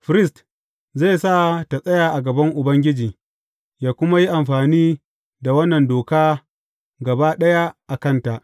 Firist zai sa tă tsaya a gaban Ubangiji, yă kuma yi amfani da wannan doka gaba ɗaya a kanta.